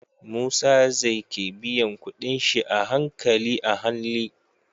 Musa zai ke biyan kuɗin shi a hankali ahanli